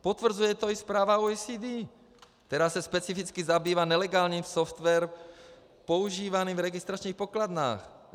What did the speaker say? Potvrzuje to i zpráva OECD, která se specificky zabývá nelegálním softwarem používaným v registračních pokladnách.